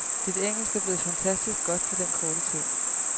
Dit engelsk er blevet fantastisk godt på den korte tid.